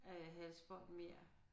Øh halsbånd mere